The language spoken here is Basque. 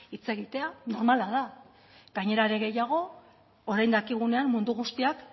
hitz egitea mamala da gainera are gehiago orain dakigunean mundu guztiak